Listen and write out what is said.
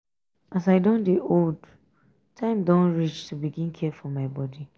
as i don dey old time don reach to begin care for my bodi.